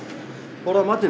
borða matinn